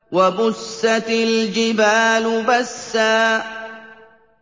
وَبُسَّتِ الْجِبَالُ بَسًّا